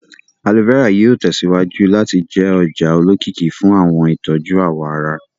Aloe vera yóò tẹsíwájú láti jẹ́ ọjà olókìkí fún àwọn ìtọ́jú àwọ̀ ará